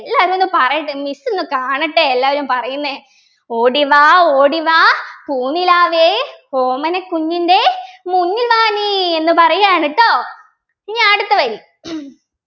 എല്ലരും ഒന്ന് പറയ്ട്ട miss ഒന്ന് കാണട്ടെ എല്ലാരും പറയുന്നേ ഓടിവാ ഓടിവാ പൂനിലാവേ ഓമനക്കുഞ്ഞിൻ്റെ മുന്നിൽ വാ നീ എന്ന് പറയാണ് ട്ടോ ഇനി അടുത്ത വരി